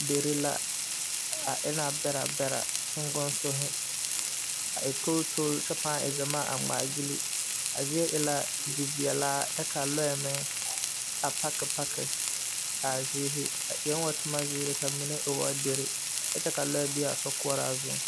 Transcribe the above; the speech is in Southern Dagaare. Dere la a e la bɛrɛ bɛrɛ sookoŋsohi a e toll toll kyɛ pãã e gyamaa ngmaagyile a zie e la ziveɛlaa kyɛ ka lɔɛ meŋ a paki paki a zieehi o eɛɛŋ wo tomo zeere ka mine e woo dere kyɛ ka lɔɛ beaa sokoɔraa zuŋ.